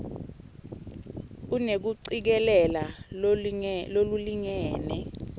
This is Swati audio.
unekucikelela lolulingene